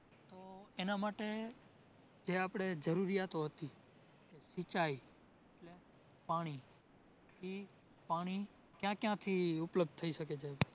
એના માટે જે આપડે જરૂરિયાતો હતી સિંચાઇ એટલે પાણી, થી પાણી ક્યાં ક્યાંથી ઉપલબ્ધ થઈ શકે છે?